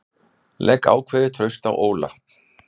Legg ákveðið traust á Óla